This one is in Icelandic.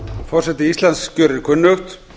forseti íslands gjörir kunnugt